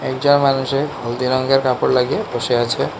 পূজার মানুষের হলদি রঙের কাপড় লাগিয়ে বসে আছে।